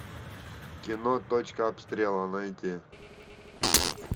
кино точка обстрела найти